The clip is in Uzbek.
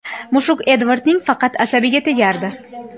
Mushuk Edvardning faqat asabiga tegardi.